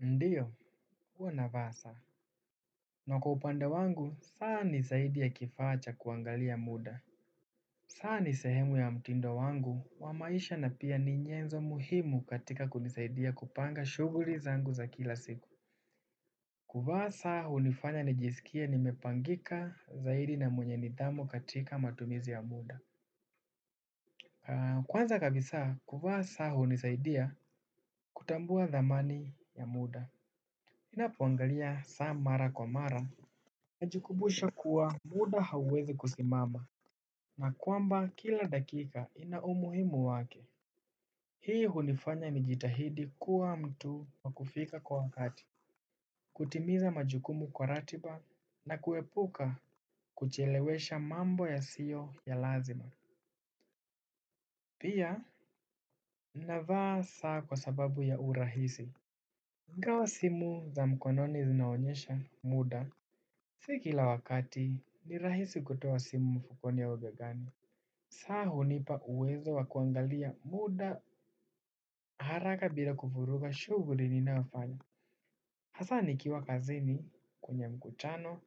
Ndio, huwa navaa saa. Na kwa upande wangu, saa ni zaidi ya kifaa cha kuangalia muda. Saa ni sehemu ya mtindo wangu wa maisha na pia ni nyenzo muhimu katika kunisaidia kupanga shughuli zangu za kila siku. Kuvaa saa hufanya nijisikie nimepangika zaidi na mwenye nidhamu katika matumizi ya muda. Kwanza kabisa, kuvaa saa hunisaidia kutambua dhamani ya muda. Ninapoangalia saa mara kwa mara. Najikumbusha kuwa muda hauwezi kusimama na kwamba kila dakika ina umuhimu wake. Hii hunifanya nijitahidi kuwa mtu wa kufika kwa wakati. Kutimiza majukumu kwa ratiba na kuepuka kuchelewesha mambo yasiyo ya lazima. Pia navaa saa kwa sababu ya urahisi. Ingawa wa simu za mkononi zinaonyesha muda, si kila wakati ni rahisi kutoa simu mfukoni au begani. Saa hunipa uwezo wa kuangalia muda haraka bila kuvuruga shughuli ninayofanya hasa nikiwa kazini kwenye mkutano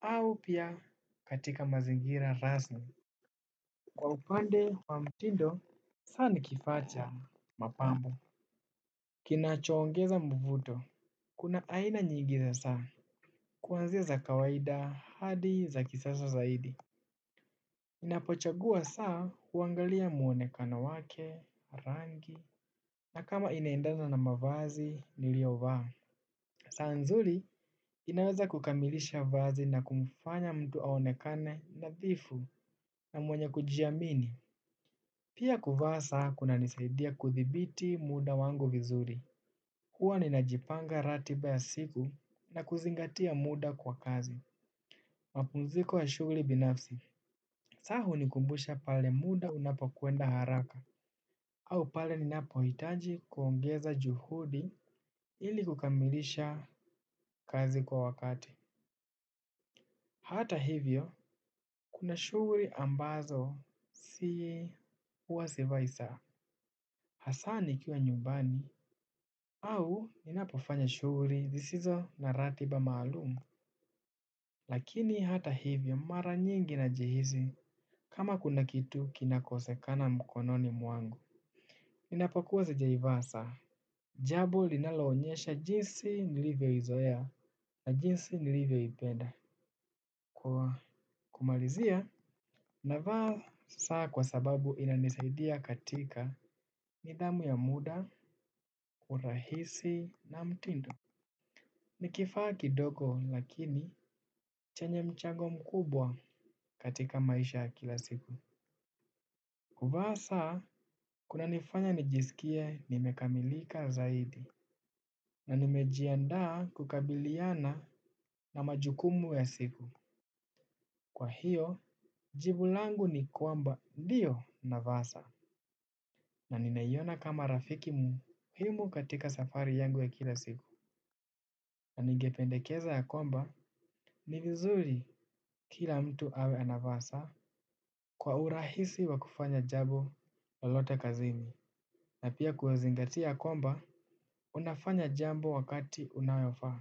au pia katika mazingira rasmi. Kwa upande wa mtindo saa ni kifaa cha mapambo kinachoongeza mvufuto. Kuna aina nyingi za saa. Kuanzia za kawaida hadi za kisasa zaidi ninapochagua saa huangalia muonekano wake, rangi na kama inaendana na mavazi niliyovaa. Saa nzuri inawexa kukamilisha vazi na kumfanya mtu aonekane nadhifu na mwenye kujiamini. Pia kuvaa saa kunanisaidia kudhibiti muda wangu vizuri. Huwa ninajipanga ratiba ya siku na kuzingatia muda kwa kazi. Mapumziko ya shughuli binafsi. Saa hunikumbusha pale muda unapokwenda haraka. Au pale ninapohitaji kuongeza juhudi ili kukamilisha kazi kwa wakati. Hata hivyo, kuna shughuli ambazo sii, huwa sivai saa. Hasa nikiwa nyumbani au ninapofanya shughuli zisizo na ratiba maalumu. Lakini hata hivyo mara nyingi najihisi kama kuna kitu kinakosekana mkononi mwangu. Ninapokua sijaivaa saa. Jambo linaloonyesha jinsi nilivyoizoea na jinsi nilivyoipenda. Kwa kumalizia, navaa saa kwa sababu inanisaidia katika nidhamu ya muda, urahisi na mtindo. Nikifaa kidogo lakini chenye mchango mkubwa katika maisha ya kila siku. Kuvaa saa, kunanifanya nijisikie nimekamilika zaidi. Na nimejiandaa kukabiliana na majukumu ya siku. Kwa hiyo, jibu langu ni kwamba ndio navaa saa. Na ninaiona kama rafiki muhimu katika safari yangu ya kila siku. Na ningependekeza ya kwamba, ni vizuri kila mtu awe anavaa saa kwa urahisi wa kufanya jambo lolote kazini. Na pia kuzingatia kwamba, unafanya jambo wakati unayofa.